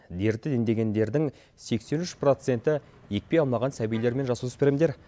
дерті індегендердің сексен үш проценті екпе алмаған сәбилер мен жасөспірімдер